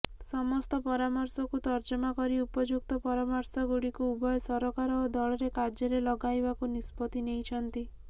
ସମସ୍ତ ପରାମର୍ଶକୁ ତର୍ଜମା କରି ଉପଯୁକ୍ତ ପରାମର୍ଶଗୁଡ଼ିକୁ ଉଭୟ ସରକାର ଓ ଦଳରେ କାର୍ଯ୍ୟରେ ଲଗାଇବାକୁ ନିଷ୍ପତ୍ତି ନେଇଛନ୍ତି